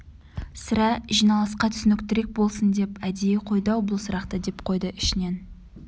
сірә жиналысқа түсініктірек болсын деп әдейі қойды-ау бұл сұрақты деп қойды ішінен